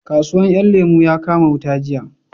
Kasuwan 'yan lemo ya kama wuta jiya